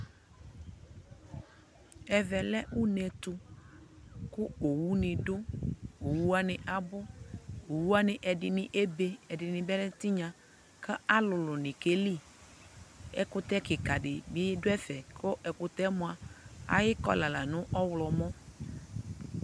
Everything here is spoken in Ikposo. ɛvɛ lɛ ʋnɛ ɛtʋ kʋ ɔwʋ ni dʋ, ɔwʋ wani abʋ, ɔwʋ waniɛdi ɛbɛ ɛdini bi lɛ tinya kʋ alʋlʋ ni kɛli, ɛkʋtɛ kikaa di bi dʋ ɛƒɛ kʋ ɛkʋtɛ mʋa ayicolor lanʋ ɔwlɔmʋ